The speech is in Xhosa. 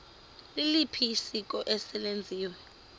liliphi isiko eselenziwe